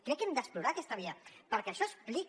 crec que hem d’explorar aquesta via perquè això explica